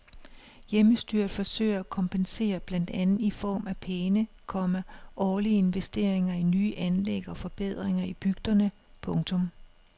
Hjemmestyret forsøger at kompensere blandt andet i form af pæne, komma årlige investeringer i nye anlæg og forbedringer i bygderne. punktum